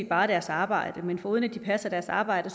bare deres arbejde men foruden at de passer deres arbejde